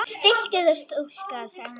Stilltu þig stúlka, sagði hann.